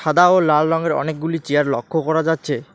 সাদা ও লাল রংয়ের অনেকগুলি চেয়ার লক্ষ্য করা যাচ্ছে।